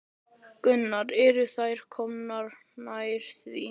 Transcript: Gunnar: Eru þeir komnir nær því?